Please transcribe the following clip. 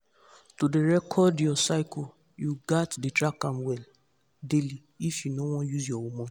to dey record your cycle you gats dey track am daily if you no won use hormone